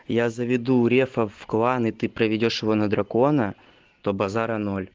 я заведу рефа в клан и ты проведёшь его на дракона то базара ноль